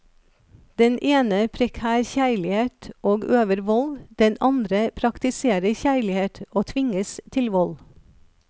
Den ene preker kjærlighet og øver vold, den andre praktiserer kjærlighet og tvinges til vold.